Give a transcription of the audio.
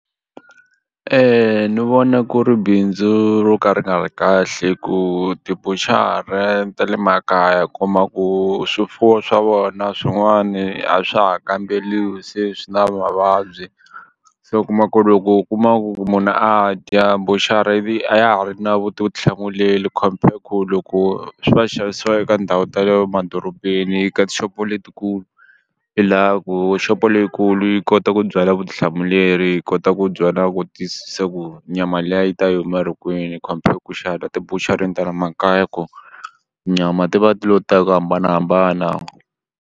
ni vona ku ri bindzu ro ka ri nga ri kahle hi ku tibushare ta le makaya u kuma ku swifuwo swa vona swin'wani a swa ha kambeliwi se swi na mavabyi se u kuma ku ri loko u kuma ku munhu a dya buchara ivi a ya ha ri na vutihlamuleri compare ku loko swi va xavisiwa eka ndhawu ta le madorobeni eka tixopo letikulu i la ku xopo leyikulu yi kota ku byala vutihlamuleri yi kota ku byala ku tiyisisa ku nyama liya yi ta yi huma ri kwini compare ku xava ka tibushareni ta le makaya ku nyama ti va ti lo ta hi ku hambanahambana.